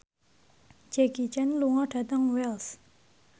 Jackie Chan lunga dhateng Wells